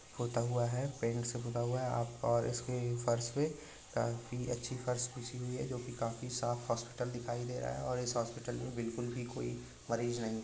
पुता हुआ है पेंट से पुता हुआ है आप और उसकी फर्श पे काफी अच्छी फर्श बिछी हुई है जोकि काफी साफ हॉस्पिटल दिखाई दे रहा है और इस अस्पताल में बिल्कुल भी कोई मरीज नहीं है।